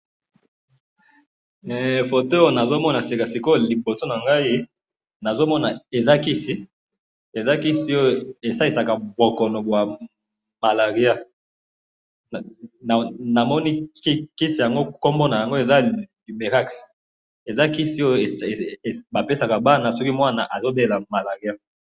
Photo Oyo nazomona sika sikoyo liboso na ngayi, nazomona Eza Kisi, Eza Kisi oyo esalisaka bokono bwa malaria. Namoni kisi yango, kombo na yango Eza lumerax. Eza Kisi oyo bapesaka bana, soki mwana abelaka malaria